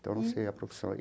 Então, não sei a profissão.